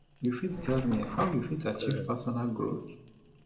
you fit tell me how you fit achieve personal growth